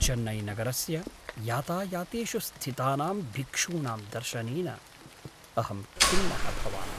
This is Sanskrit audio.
चेन्नैनगरस्य यातायातेषु स्थितानां भिक्षूणां दर्शनेन अहं खिन्नः भवामि।